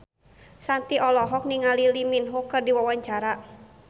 Shanti olohok ningali Lee Min Ho keur diwawancara